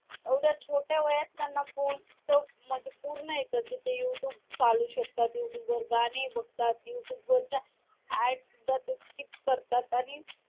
एवढ्या छोट्या वयात त्यांना फोन च म्हणजे पूर्ण येत कि ते YouTube चालवू शकतात YouTube वर गाणी बघतात YouTube वरच्या adds सुद्धा ते skip करतात आणि